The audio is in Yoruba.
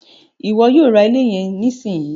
Iwọ yóò rá ilé yẹn nisinyi!